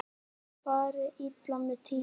Fari illa með tímann.